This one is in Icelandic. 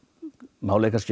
málið er kannski